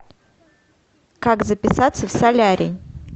как записаться в солярий